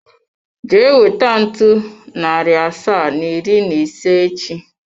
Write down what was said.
Jee weta ntu, nari asaa na iri na ise echi!